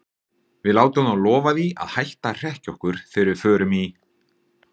Við látum þá lofa því að hætta að hrekkja okkur þegar við förum í